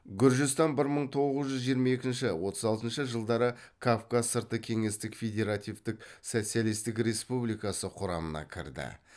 гүржістан бір мың тоғыз жүз жиырма екінші отыз алтыншы жылдары кавказ сырты кеңестік федеративтік социалистік республикасы құрамына кірді